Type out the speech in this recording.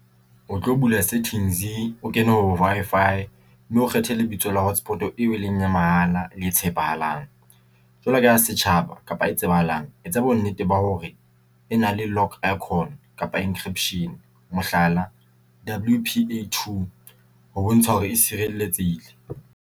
O tlo bula settings o ke ne ho Wi-Fi, mme o kgethe lebitso la hotspot eo e leng ya mahala le e tshepahalang. Jwalo ka ya setjhaba kapa e tsebahalang etsa bonnete ba hore e na le lock Icon kapa encryption mohlala W_P_A 2 ho bontsha hore e sireletsehile.